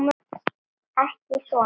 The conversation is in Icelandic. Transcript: Ekki svona.